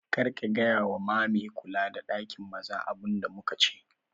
Kar ka gaya wa ma me kula da ɗakin maza abun da muka ce